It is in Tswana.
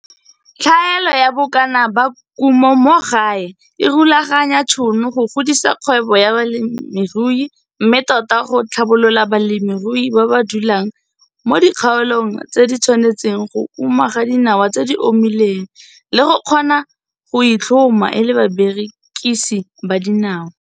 Tlhaelo ya bokana ba kumo mo gae e rulaganya tšhono go godisa kgwebo ya bolemirui, mme tota go tlhabolola balemirui ba ba dulang mo dikgaolong tse di tshwanetseng go uma ga dinawa tse di omileng, le go kgona go itlhoma e le barekisi ba dinawa.